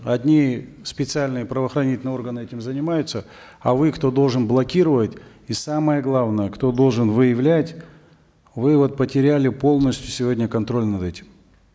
одни специальные правоохранительные органы этим занимаются а вы кто должен блокировать и самое главное кто должен выявлять вы вот потеряли полностью сегодня контроль над этим